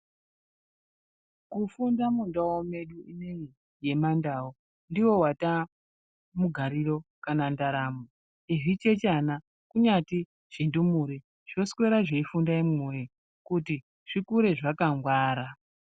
Kufunda mundau medu ineyi yemandau ndiwo wataamugariro kana ndaramo. Nezvichechana kunyati zvindumure zvoswera zveifunda imwi woyee kuti zvikure zvakangwara.